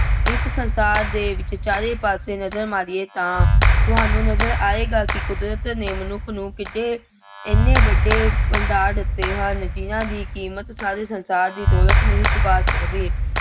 ਇਸ ਸੰਸਾਰ ਦੇ ਵਿੱਚ ਚਾਰੇ ਪਾਸੇ ਨਜ਼ਰ ਮਾਰੀਏ ਤਾਂ ਤੁਹਾਨੂੰ ਨਜ਼ਰ ਆਏਗਾ ਕਿ ਕੁਦਰਤ ਨੇ ਮਨੁੱਖ ਨੂੰ ਕਿਤੇ ਐਨੇ ਵੱਡੇ ਭੰਡਾਰ ਦਿੱਤੇ ਹਨ ਜਿੰਨ੍ਹਾ ਦੀ ਕੀਮਤ ਸਾਰੇ ਸੰਸਾਰ ਦੀ ਦੌਲਤ ਨਹੀਂ ਚੁੱਕਾ ਸਕਦੀ।